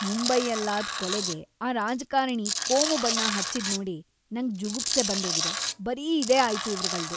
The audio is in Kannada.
ಮುಂಬೈಯಲ್ಲಾದ್ ಕೊಲೆಗೆ‌ ಆ ರಾಜಕಾರಣಿ ಕೋಮು ಬಣ್ಣ ಹಚ್ಚಿದ್ನೋಡಿ ನಂಗ್‌ ಜುಗುಪ್ಸೆ ಬಂದೋಗಿದೆ, ಬರೀ ಇದೇ ಆಯ್ತು ಇವ್ರ್‌ಗಳ್ದು.